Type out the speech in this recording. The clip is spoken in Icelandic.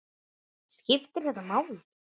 Skiptir þetta máli??